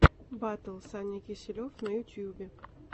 батл саня киселев на ютьюбе